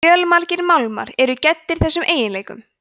fjölmargir málmar eru gæddir þessum eiginleikum